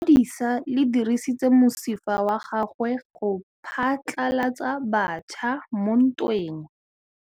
Lepodisa le dirisitse mosifa wa gagwe go phatlalatsa batšha mo ntweng.